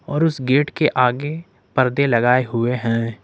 और उस गेट के आगे पर्दे लगाए हुए हैं।